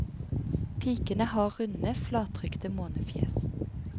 Pikene har runde, flattrykte månefjes.